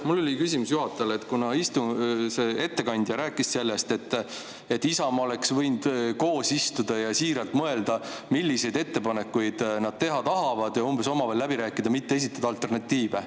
Mul oli küsimus juhatajale, kuna ettekandja rääkis sellest, et Isamaa oleks võinud koos maha istuda ja mõelda, milliseid ettepanekuid nad teha tahavad, ehk siis omavahel läbi rääkida, mitte esitada alternatiive.